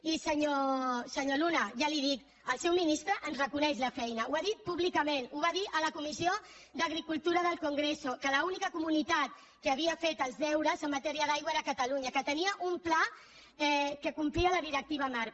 i senyor luna ja li ho dic el seu ministre ens reconeix la feina ho ha dit públicament ho va dir a la comissió d’agricultura del congrés que l’única comunitat que havia fet els deures en matèria d’aigua era catalunya que tenia un pla que complia la directiva marc